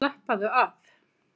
Og slappaðu af!